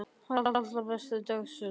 Þóra: Á allra næstu dögum kannski?